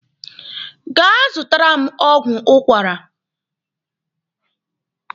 Gaa zụtara m ọgwụ ụkwara!